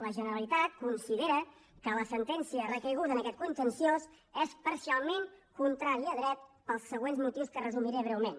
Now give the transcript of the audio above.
la generalitat considera que la sentència recaiguda en aquest contenciós és parcialment contrària a dret pels següents motius que resumiré breument